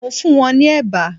Mo funwon ni eba